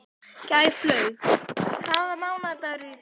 Gæflaug, hvaða mánaðardagur er í dag?